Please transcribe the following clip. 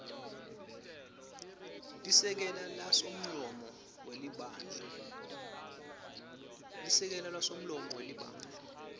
lisekela lasomlomo welibandla